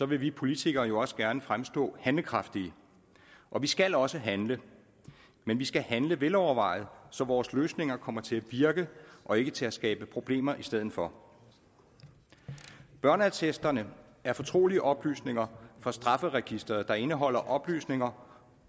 vil vi politikere jo også gerne fremstå handlekraftige og vi skal også handle men vi skal handle velovervejet så vores løsninger kommer til at virke og ikke til at skabe problemer i stedet for børneattesterne er fortrolige oplysninger fra strafferegisteret der indeholder oplysninger